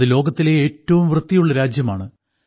അത് ലോകത്തിലെ ഏറ്റവും വൃത്തിയുള്ള രാജ്യമാണ്